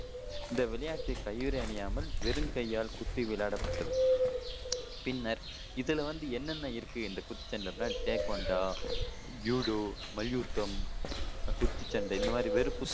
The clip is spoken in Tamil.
இந்த விளையாட்டு கையுறை அணியாமல் வெறுங்கையால் குத்தி விளையாடப்பட்டது பின்னர் இதுல வந்து என்னென்ன இருகு இந்த குத்துச்சண்டையில அப்படின்னா டேக்வாண்டா, ஜுடோ, மல்யுத்தம், குத்துச்சண்டை இந்த மாதிரி வெறு